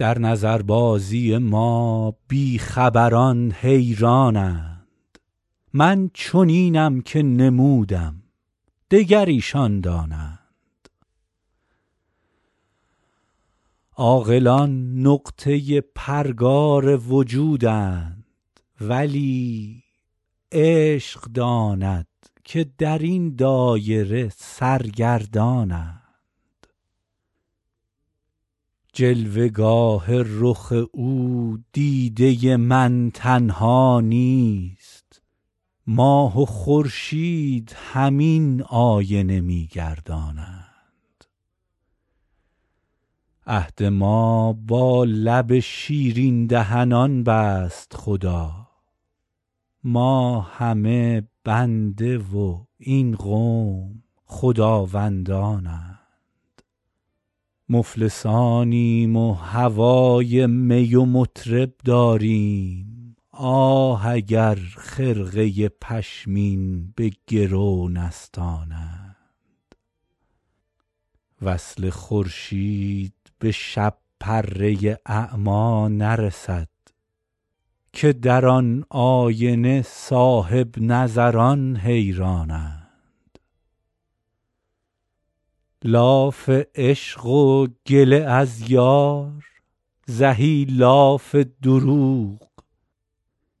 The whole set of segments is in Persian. در نظربازی ما بی خبران حیران اند من چنینم که نمودم دگر ایشان دانند عاقلان نقطه پرگار وجودند ولی عشق داند که در این دایره سرگردان اند جلوه گاه رخ او دیده من تنها نیست ماه و خورشید همین آینه می گردانند عهد ما با لب شیرین دهنان بست خدا ما همه بنده و این قوم خداوندان اند مفلسانیم و هوای می و مطرب داریم آه اگر خرقه پشمین به گرو نستانند وصل خورشید به شب پره اعمی نرسد که در آن آینه صاحب نظران حیران اند لاف عشق و گله از یار زهی لاف دروغ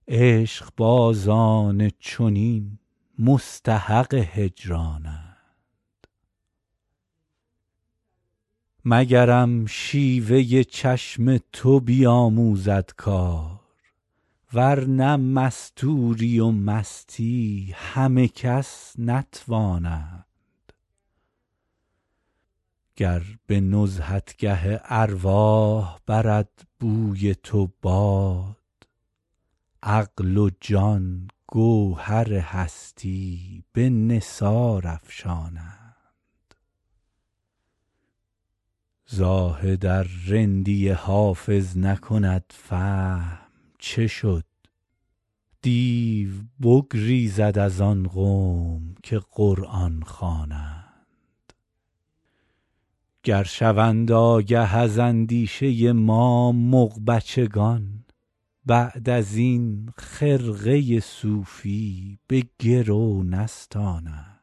عشق بازان چنین مستحق هجران اند مگرم چشم سیاه تو بیاموزد کار ورنه مستوری و مستی همه کس نتوانند گر به نزهتگه ارواح برد بوی تو باد عقل و جان گوهر هستی به نثار افشانند زاهد ار رندی حافظ نکند فهم چه شد دیو بگریزد از آن قوم که قرآن خوانند گر شوند آگه از اندیشه ما مغ بچگان بعد از این خرقه صوفی به گرو نستانند